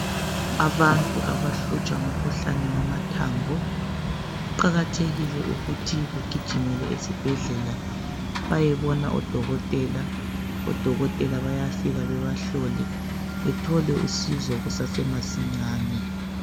Abantu abahlutshwa ngumkhuhlane wamathambo kuqakathekile ukuthi begijimele esibhedlela bayebona odokotela, odokotela bayafika bebahlole bethole usizo kusasemasinyane.